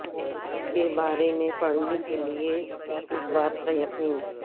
کے بارے میں پڑھنے کے لئے اس بات کا یقین